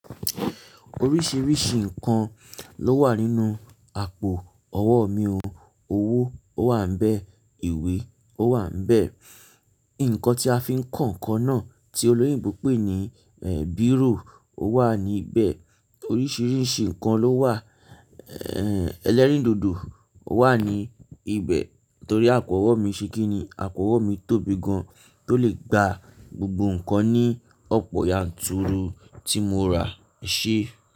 Oríṣiríṣi nǹkan ló wà nínú àpò ọwọ́ mi o. Owó ó wà níbẹ̀, ìwé o wà níbẹ̀, nǹkan tí a fi ń kọ ǹkan náà tí olóyìnbo pé ní èhè biro o wà níbẹ̀. Oríṣiríṣi nǹkan ló wà. Èhè ẹlẹ́rìndòdò wà ní ibẹ̀ torí àpò ọwọ́ mi ṣe kí ni, àpò ọwọ́ mi tóbi gan tó lè gba gbogbo nǹkan ní ọ̀pọ̀ yanturu tí mo rà e ṣe.